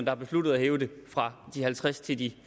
har besluttet at hæve det fra de halvtreds til de